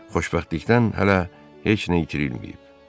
Xoşbəxtlikdən hələ heç nə itirilməyib.